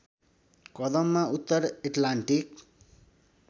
कदममा उत्तर एटलान्टिक